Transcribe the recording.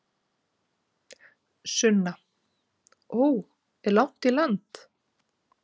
Sunna: Ó, er langt í land?